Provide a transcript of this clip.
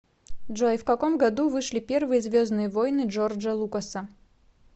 джой в каком году вышли первые звездные воины джорджа лукаса